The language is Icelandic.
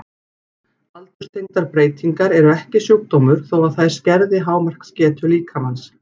Aldurstengdar breytingar eru ekki sjúkdómur þó að þær skerði hámarksgetu líkamans.